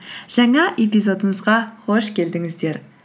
жаңа эпизодымызға қош келдіңіздер